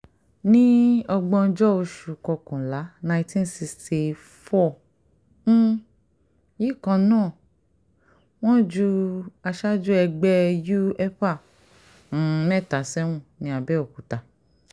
ní ògbóǹjọ oṣù kọkànlá nineteen sixty four um yìí kan náà wọ́n ju àwọn aṣáájú ẹgbẹ́ u epa um mẹ́ta sẹ́wọ̀n ní àbẹ́òkúta